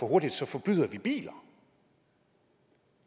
for hurtigt så forbyder vi biler